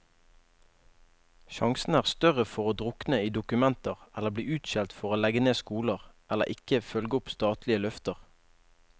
Sjansene er større for å drukne i dokumenter eller bli utskjelt for å legge ned skoler, eller ikke følge opp statlige løfter.